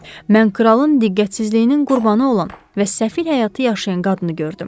Mən kralın diqqətsizliyinin qurbanı olan və səfil həyatı yaşayan qadını gördüm.